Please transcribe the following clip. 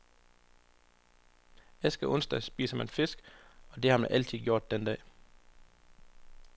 Askeonsdag spiser man fisk, for det har man altid gjort den dag.